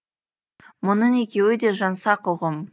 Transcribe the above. мұның екеуі де жаңсақ ұғым